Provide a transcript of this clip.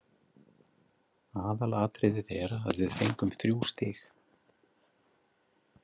Aðalatriðið er að við fengum þrjú stig.